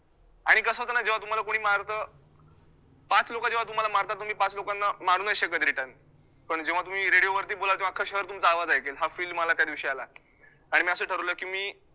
आणि कसं होतं ना तुम्हाला कोणी मारतं पाच लोकं जेव्हा तुम्हाला मारतात तुम्ही पाच लोकांना मारू नाही शकतं return पण जेव्हा तुम्ही radio वरती बोलालं तेव्हा अख्ख शहर तुमचं आवाज ऐकेल हा fill मला त्यादिवशी आला आणि मी असं ठरवलं की मी